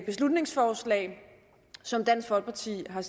beslutningsforslag som dansk folkeparti har